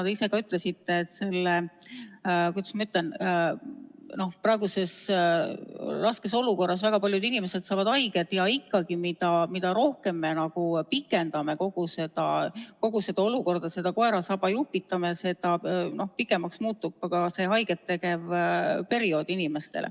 Te ise ka ütlesite, et selles, kuidas ma ütlen, praeguses raskes olukorras väga paljud inimesed saavad haiget, ja ikkagi, mida rohkem me pikendame kogu seda olukorda, seda koera saba jupitame, seda pikemaks muutub see haiget tegev periood.